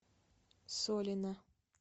солина